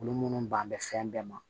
Olu munnu ban bɛ fɛn bɛɛ ma